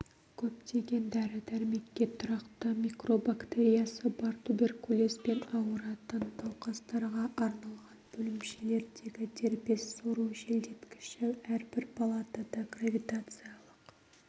көптеген дәрі-дәрмекке тұрақты микробактериясы бар туберкулезбен ауыратын науқастарға арналған бөлімшелердегі дербес сору желдеткіші әрбір палатада гравитациялық